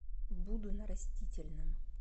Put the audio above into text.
буду на растительном